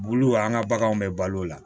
Bulu an ka baganw bɛ balo o la